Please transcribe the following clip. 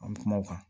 An bɛ kuma o kan